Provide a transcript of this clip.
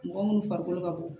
Mɔgɔ munnu farikolo ka bon